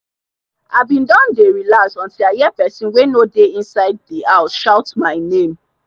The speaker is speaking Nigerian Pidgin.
i bin don dey relax until i hear person wey no dey inside the house shout my name